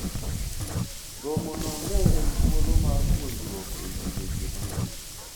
romono ne en thuolo mar puonjruok ewi weche mang'eny